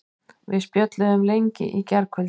Við spjölluðum lengi í gærkvöldi.